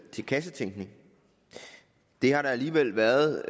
til kassetænkning det har der alligevel været